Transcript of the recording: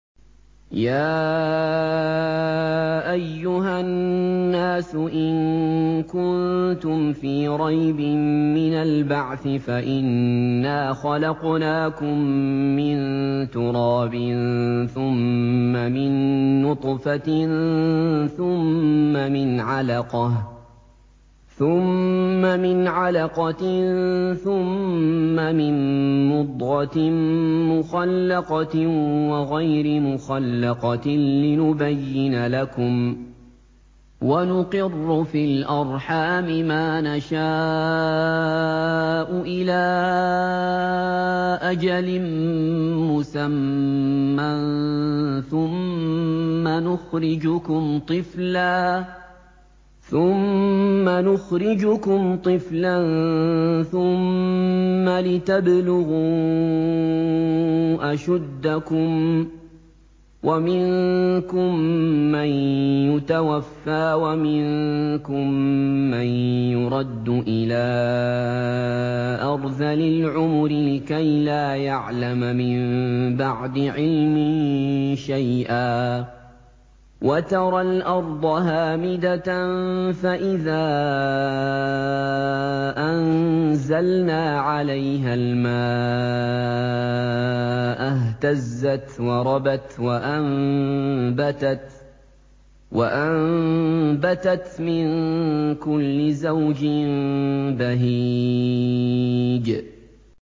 يَا أَيُّهَا النَّاسُ إِن كُنتُمْ فِي رَيْبٍ مِّنَ الْبَعْثِ فَإِنَّا خَلَقْنَاكُم مِّن تُرَابٍ ثُمَّ مِن نُّطْفَةٍ ثُمَّ مِنْ عَلَقَةٍ ثُمَّ مِن مُّضْغَةٍ مُّخَلَّقَةٍ وَغَيْرِ مُخَلَّقَةٍ لِّنُبَيِّنَ لَكُمْ ۚ وَنُقِرُّ فِي الْأَرْحَامِ مَا نَشَاءُ إِلَىٰ أَجَلٍ مُّسَمًّى ثُمَّ نُخْرِجُكُمْ طِفْلًا ثُمَّ لِتَبْلُغُوا أَشُدَّكُمْ ۖ وَمِنكُم مَّن يُتَوَفَّىٰ وَمِنكُم مَّن يُرَدُّ إِلَىٰ أَرْذَلِ الْعُمُرِ لِكَيْلَا يَعْلَمَ مِن بَعْدِ عِلْمٍ شَيْئًا ۚ وَتَرَى الْأَرْضَ هَامِدَةً فَإِذَا أَنزَلْنَا عَلَيْهَا الْمَاءَ اهْتَزَّتْ وَرَبَتْ وَأَنبَتَتْ مِن كُلِّ زَوْجٍ بَهِيجٍ